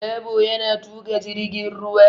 Dabo yana tuƙa jirgin ruwa.